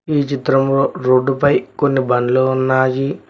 ఈ చిత్రంలో రోడ్డు పై కొన్ని బండ్లు ఉన్నాయి.